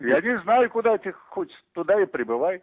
я не знаю куда ты хочешь туда и прибывай